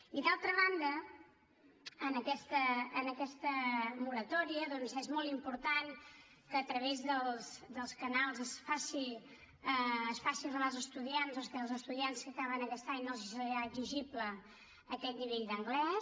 i d’altra banda en aquesta moratòria doncs és molt important que a través dels canals es faci arribar als estudiants que als estudiants que acaben aquest any no els serà exigible aquest nivell d’anglès